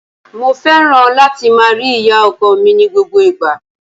Mo fẹ́ràn láti máa rí ìyá-ọkọ mi ní gbogbo ìgbà.